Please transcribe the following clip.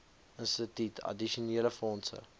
instituut addisionele fondse